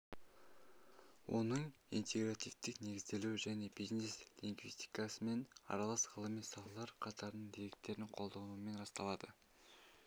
оның интегративтік негізделуі және бизнес-лингвистикамен аралас ғылыми салалар қатарының деректерін қолданумен расталады